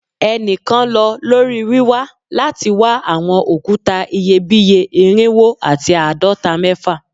Ẹnikan lọ lori wiwa lati wa awọn okuta iyebiye irinwo ati aadọta- mẹfa